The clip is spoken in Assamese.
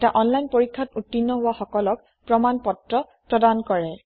এটা অনলাইন পৰীক্ষাত উত্তীৰ্ণ হোৱা সকলক প্ৰমাণ পত্ৰ প্ৰদান কৰে